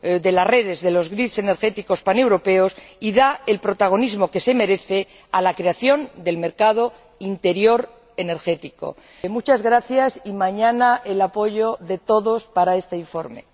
de las redes, de los grids energéticos paneuropeos, y da el protagonismo que se merece a la creación del mercado interior energético. Muchas gracias y les solicito mañana el apoyo de todos para este informe.